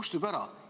See kustub ära.